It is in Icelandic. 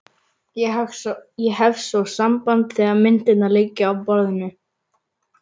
Ég hef svo samband þegar myndirnar liggja á borðinu.